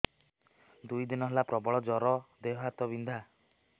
ଦୁଇ ଦିନ ହେଲା ପ୍ରବଳ ଜର ଦେହ ହାତ ବିନ୍ଧା